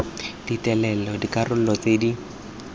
di telele dikarolo tse di